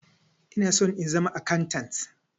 Ina son in zama akantant.